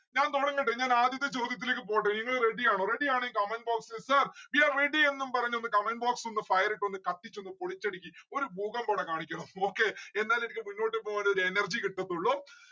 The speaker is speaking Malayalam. ഞാൻ തൊടങ്ങട്ടെ ഞാൻ ആദ്യത്തെ ചോദ്യത്തിലേക്ക് പോട്ടെ നിങ്ങള് ready ആണോ ready ആണേൽ comment box ൽ sir we are ready എന്നും പറഞ്ഞൊന്ന് comment box ഒന്ന് fire ഇട്ടൊന്ന് കത്തിച്ചൊന്ന് പൊളിച്ചെടിക്ക്. ഒരു ഭൂകമ്പ ഇവിടെ കാണിക്കണം. okay എന്നാലെ എനിക്ക് മുന്നോട്ട് പോവാനൊരു energy കിട്ടത്തുള്ളൂ